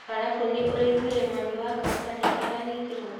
Alafu nĩ ũraugwire mami wa kamaa nĩ aranyitirwo